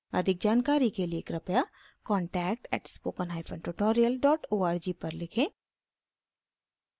अधिक जानकारी के लिए कृपया contact @spokentutorial org पर लिखें